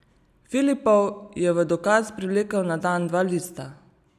Filipov je v dokaz privlekel na dan dva lista.